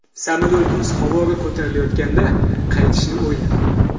Samolyotimiz havoga ko‘tarilayotganda qaytishni o‘yladim.